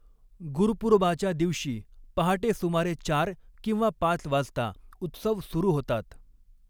गुरुपूरबाच्या दिवशी, पहाटे सुमारे चार किंवा पाच वाजता उत्सव सुरू होतात.